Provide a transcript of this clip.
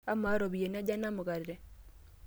Amaa, ropiyiani aja ena mukate?